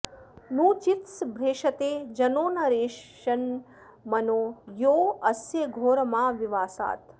नू चि॒त्स भ्रे॑षते॒ जनो॒ न रे॑ष॒न्मनो॒ यो अ॑स्य घो॒रमा॒विवा॑सात्